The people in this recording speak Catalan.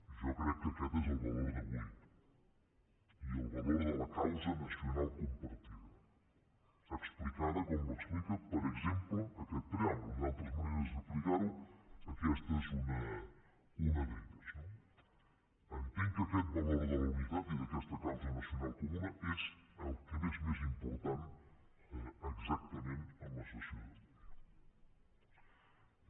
jo crec que aquest és el valor d’avui i el valor de la causa nacional compartida explicada com l’explica per exemple aquest preàmbul hi ha altres maneres d’explicar ho aquesta és una d’elles no entenc que aquest valor de la unitat i d’aquesta causa nacional comuna és el que és més important exactament en la sessió d’avui